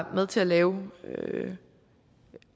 med til at lave